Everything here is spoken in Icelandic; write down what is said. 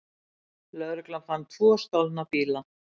Lögreglan fann tvo stolna bíla